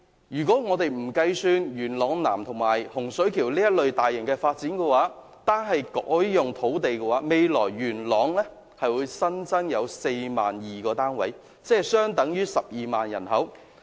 如果我們不把元朗南及洪水橋等大型發展計算在內，單是改劃土地，未來元朗將會增加 42,000 個房屋單位，相等於12萬人口。